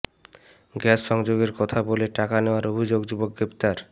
gas সংযোগের কথা বলে টাকা নেয়ার অভিযোগে যুবক গ্রেপ্তার